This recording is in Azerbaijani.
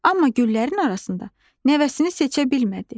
Amma güllərin arasında nəvəsini seçə bilmədi.